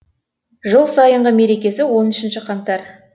жыл сайынғы мерекесі он үшінші қаңтар